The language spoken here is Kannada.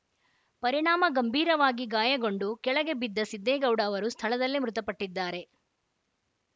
ಪರಿಣಾಮ ಗಂಭೀರವಾಗಿ ಗಾಯಗೊಂಡು ಕೆಳಗೆ ಬಿದ್ದ ಸಿದ್ದೇಗೌಡ ಅವರು ಸ್ಥಳದಲ್ಲೇ ಮೃತಪಟ್ಟಿದ್ದಾರೆ